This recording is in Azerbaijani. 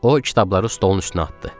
O kitabları stolun üstünə atdı.